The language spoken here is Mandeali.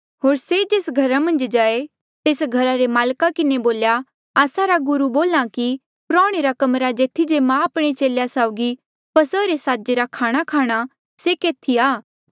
होर से जेस घरा मन्झ जाए तेस घरा रे माल्का किन्हें बोल्या आस्सा रा गुरू बोल्हा कि प्रौह्णे रा कमरा जेथी जे मां आपणे चेलेया साउगी फसहा रे साजे रा खाणाखाणा से केथी आ